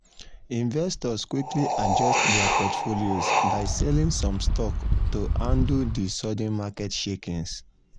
investors quickly adjust dir portfolios by selling some stocks to handle di sudden market shakings.